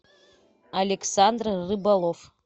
александр рыболов